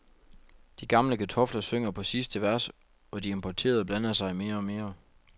De gamle kartofler synger på sidste vers og de importerede blander sig mere og mere.